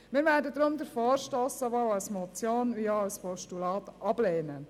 Wir werden den Vorstoss deshalb sowohl als Motion als auch als Postulat ablehnen.